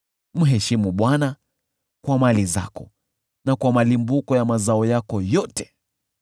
Mheshimu Bwana kwa mali zako na kwa malimbuko ya mazao yako yote;